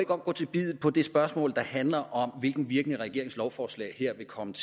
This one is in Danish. godt gå til biddet på det spørgsmål der handler om hvilken virkning regeringens lovforslag her vil komme